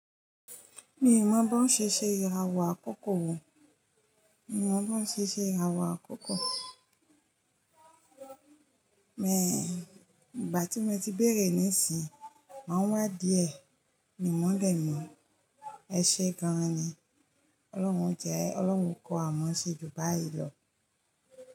Mi ò mọ̀ bó ń ṣe ṣe ìràwọ̀ àkókò wòn, mi ò mọ̀ bó ń ṣe ṣe ìràwọ̀ àkókò. Ìgbà tí mo ti béèrè nísìnyí, máa wá díẹ̀. Mi mọ̀ lẹ́mọ́. Ẹ ṣe gan ni. Ọlọ́run jẹ, Ọlọ́run kọ́ à mọ́ ṣe jù báyìí lọ.